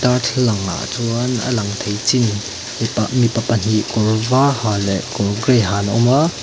darthlalangah chuan a lang thei chin mi mipa pahnih kawr var ha leh kawr gray ha an awm a.